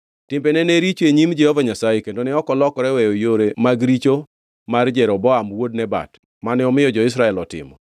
Timbene ne richo e nyim Jehova Nyasaye kendo ne ok olokore weyo yore mag richo mar Jeroboam wuod Nebat, mane omiyo jo-Israel otimo.